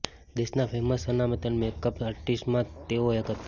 દેશના ફેમસ સન્માનિત મેકઅપ આર્ટિસ્ટમાંના તેઓ એક હતા